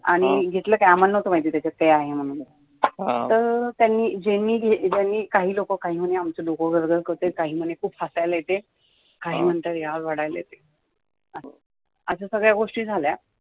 आणी घेतलं काही आम्हाला न्हवतं माहिती त्याच्यात काही आहे म्हणुन फ़क्त ज्यांनी घेतलं काही लोकं काही म्हणे डोकं वगैरे करतय काही म्हणे खूप हसायला येतय काही म्हणे रडायला येतय असं सगळ्या गोष्टी झाल्या